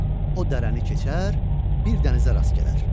O dərəni keçər, bir dənizə rast gələr.